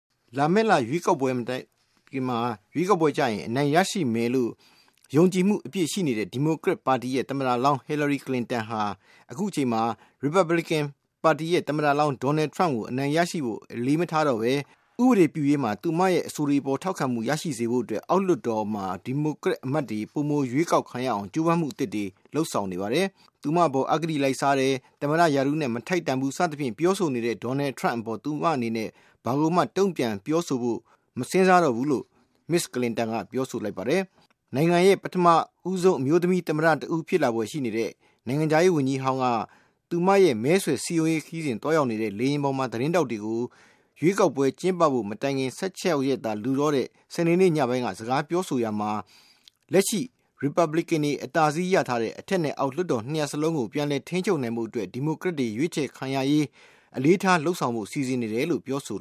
လာမည့်လ ရွေးကောက်ပွဲမှာ အနိုင်ရရှိမယ်လို့ ယုံကြည်မှုအပြည့်ရှိနေတဲ့ ဒီမိုကရက်ပါတီသမ္မတလောင်း Hillary ကလင်တန် ဟာ အခုအချိန်မှာတော့ Republican သမ္မတလောင်း Donald Trump ကို အနိုင်ရရှိဖို့ အရေးမထား တော့ပဲ ဥပဒေပြုရေးမှာ သူမရဲ့ အဆိုတွေအပေါ်ထောက်ခံမှုရရှိစေဖို့အတွက် အောက်လွှတ်တော်မှာ ဒီမိုကရက် အမတ်တွေ ပိုမိုရွေးကောက်ခံရအောင် ကြိုးပမ်းမှု အသစ်တွေ လုပ်ဆောင်နေပါတယ်။ သူမအပေါ် အဂတိလိုက်စားတယ်၊ သမ္မတရာထူးနဲ့ မထိုက်တန်ဘူး စသဖြင့် ပြောဆိုနေတဲ့ Donald Trump အပေါ် သူ့အနေနဲ့ ဘာကိုမှာ တုန့်ပြန်ပြောဆိုဖို့ မစဉ်းစားတော့ဘူးလို့ မစ္စကလင်တန်က ပြောဆိုလိုက်ပါတယ်။ နိုင်ငံရဲ့ ပထမဦးဆုံး အမျိုးသမီး သမ္မတ တဦး ဖြစ်လာဖွယ်ရှိနေတဲ့ နိုင်ငံခြားရေးဝန်ကြီးဟောင်း က သူမရဲ့ မဲဆွယ်စည်းရုံးရေးခရီးစဉ် သွားရောက်နေတဲ့ လေယာဉ်ပေါ်မှာ သတင်းထောက်တွေကို ရွေးကောက်ပွဲ ကျင်းပဖို့ ၁၆ ရက်သာလိုတော့တဲ့ စနေနေ့ညပိုင်းက စကားပြောဆိုရာမှာ လက်ရှိ Republicanတွေ အသာစီးရရှိထားတဲ့ အထက်နဲ့အောက် လွှတ်တော် ၂ ရပ်စလုံးကို ပြန်လည် ထိန်းချုပ်နိုင်ဖို့အတွက် ဒီမိုကရက်တွေ ရွေးချယ်ခံရရေး အတွက် အလေးထား လုပ်ဆောင်ဖို့ စီစဉ်နေတယ်လို့ ပြောဆို